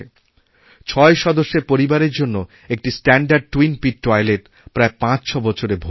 ছয় সদস্যেরপরিবারের জন্য একটি স্ট্যানডার্ড টুইন পিত্তৈলেত প্রায় পাঁচছবছরে ভরে যায়